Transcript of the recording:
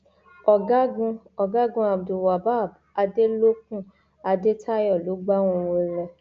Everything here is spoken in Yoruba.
ọgágun ọgágun abdulwabab adélòkun adétayọ ló gbá wọn wọlẹ